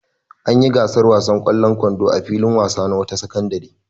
An yi gasar wasan ƙwallon kwando a filin wasa na wata sakandare.